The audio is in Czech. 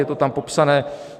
Je to tam popsané.